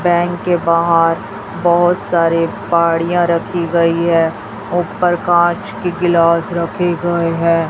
Bank के बाहर बहुत सारे पहाड़ियां रखी गई है ऊपर कांच की गिलास रखे गए हैं।